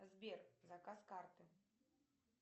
сбер заказ карты